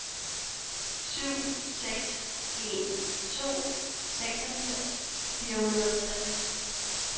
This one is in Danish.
syv seks en to seksogfirs fire hundrede og tres